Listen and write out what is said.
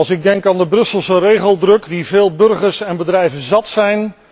Ik denk aan de Brusselse regeldruk, die veel burgers en bedrijven zat zijn.